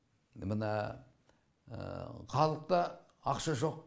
мына халықта ақша жоқ